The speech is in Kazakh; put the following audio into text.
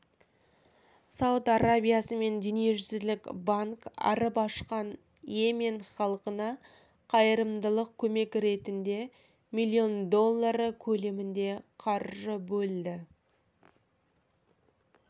сауд арабиясы мен дүниежүзілік банк арып-ашқан йемен халқына қайырымдылық көмек ретінде миллион доллары көлемінде қаржы бөлді